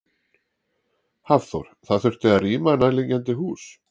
Hafþór: Það þurfti að rýma nærliggjandi hús?